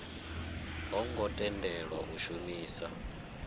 ho ngo tendelwa u shumisa